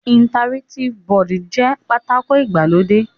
Interractive board jẹ́ pátákó ìgbàlódé.